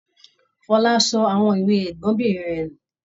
Fọlá sọ àwọn ìwé ẹgbọnbìnrin rẹ̀ nù.